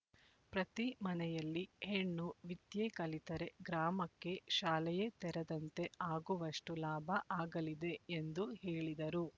ಪ್ರತಿ ಮನೆಯಲ್ಲಿ ಹೆಣ್ಣು ವಿದ್ಯೆ ಕಲಿತರೆ ಗ್ರಾಮಕ್ಕೆ ಶಾಲೆಯೇ ತೆರೆದಂತೆ ಆಗುವಷ್ಟು ಲಾಭ ಆಗಲಿದೆ ಎಂದು ಹೇಳಿದರು